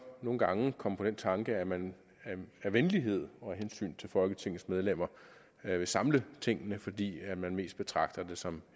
nogle gange komme på den tanke at man af venlighed og af hensyn til folketingets medlemmer vil samle tingene fordi man mest betragter det som